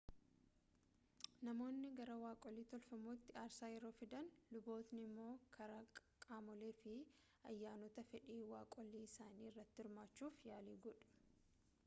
namoonni gara waaqolii tolfamootti aarsaa yeroo fidan lubootni immoo karaa qophiilee fi ayyaanotaa fedhii waaqolii isaanii irratti hirmaachuuf yaalii godhu